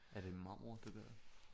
Er det marmor det der